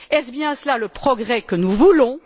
Est ce bien cela le progrès que nous voulons?